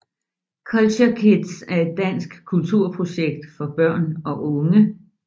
Culture KidZ er et dansk kulturprojekt for børn og unge